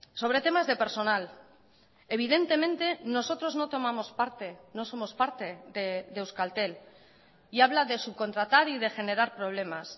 sobre temas de personal evidentemente nosotros no tomamos parte no somos parte de euskaltel y habla de subcontratar y de generar problemas